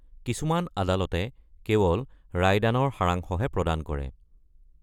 কিছুমান আদালতে কেৱল ৰায়দানৰ সাৰাংশহে প্ৰদান কৰে।